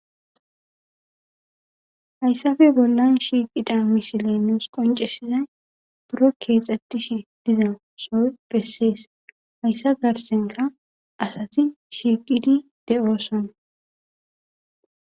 Hayssafe bollan shiiqida misileeneos qoncesizay buro keexxettishe dizo soy bessees hayssa garsenka asati shiiqidi de7oosona